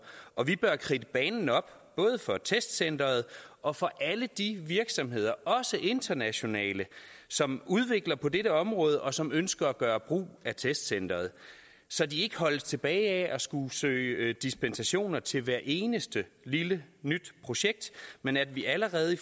og vi bør kridte banen op både for testcenteret og for alle de virksomheder også internationale som udvikler på dette område og som ønsker at gøre brug af testcenteret så de ikke holdes tilbage af at skulle søge dispensationer til hvert eneste lille nyt projekt men at vi allerede i